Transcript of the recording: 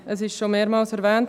Es wurde mehrmals erwähnt: